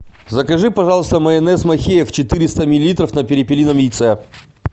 закажи пожалуйста майонез махеев четыреста миллилитров на перепелином яйце